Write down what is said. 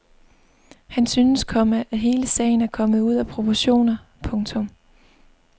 Han synes, komma at hele sagen er kommet ud af proportioner. punktum